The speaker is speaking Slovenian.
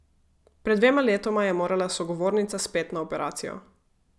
Pred dvema letoma je morala sogovornica spet na operacijo.